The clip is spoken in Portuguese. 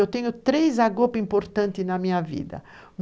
Eu tenho três Agope importantes na minha vida.